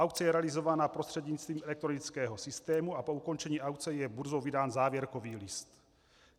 Aukce je realizována prostřednictvím elektronického systému a po ukončení aukce je burzou vydán závěrkový list.